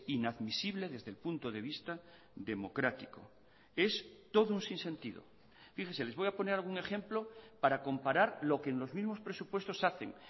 inadmisible desde el punto de vista democrático es todo un sinsentido fíjese les voy a poner algún ejemplo para comparar lo que en los mismos presupuestos hacen